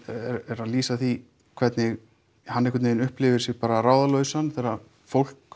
er að lýsa því hvernig hann einhvern veginn upplifir sig þegar fólk